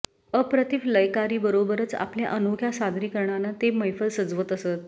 अप्रतिम लयकारीबरोबरच आपल्या अनोख्या सादरीकरणानं ते मैफल सजवत असत